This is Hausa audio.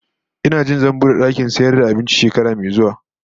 Ina jin zan bude dakin sayar da abinci shekara mai zuwa